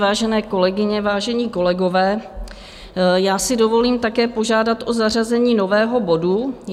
Vážené kolegyně, vážení kolegové, já si dovolím také požádat o zařazení nového bodu.